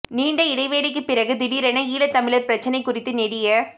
நீண்ட இடைவெளிக்குப் பிறகு திடீரென ஈழத் தமிழர் பிரச்னை குறித்து நெடிய